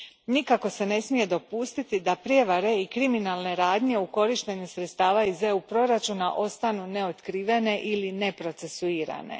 Nikako se ne smije dopustiti da prijevare i kriminalne radnje u korištenju sredstava iz proračuna EU a ostanu neotkrivene ili neprocesuirane.